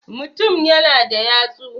mutum yana da yatsu